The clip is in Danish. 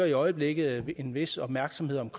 i øjeblikket en vis opmærksomhed om